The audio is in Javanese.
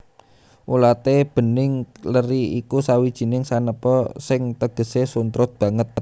Ulaté bening leri iku sawijining sanepa sing tegesé suntrut banget